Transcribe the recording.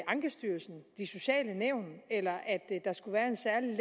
ankestyrelsen de sociale nævn eller at der skulle være en særlig